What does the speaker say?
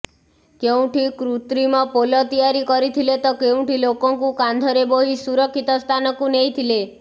କେଉଁଠି କୃତ୍ରିମ ପୋଲ ତିଆରି କରିଥିଲେ ତ କେଉଁଠି ଲୋକଙ୍କୁ କାନ୍ଧରେ ବୋହି ସୁରକ୍ଷିତ ସ୍ଥାନକୁ ନେଇଥିଲେ